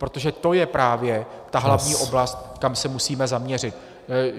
Protože to je právě ta hlavní oblast , kam se musíme zaměřit.